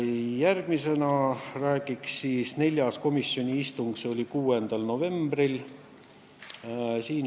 Järgmisena räägiksin neljandast komisjoni istungist, mis toimus 6. novembril.